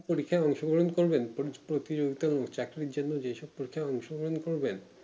পরীক্ষায় অংশগ্রহণ করবেন প্রতিযোগিতা তে actually reason এর জন্যে নিতে পারবেন